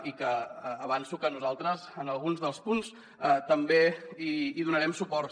i avanço que nosaltres en alguns dels punts també hi donarem suport